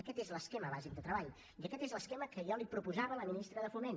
aquest és l’esquema bàsic de treball i aquest és l’esquema que jo li proposava a la ministra de foment